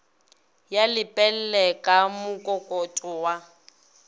ya lepelle ka mokokotlo wa